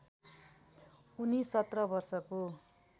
उनी १७ वर्षको